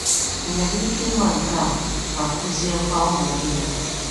Ị nwere ike ịma nke a ma kuziekwa ụmụ gị ya?